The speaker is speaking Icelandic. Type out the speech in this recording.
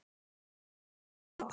Vonandi hefur þú það gott.